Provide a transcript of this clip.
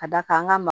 Ka d'a kan an ka ma